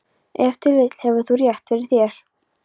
Ef til vill hefur þú rétt fyrir þér.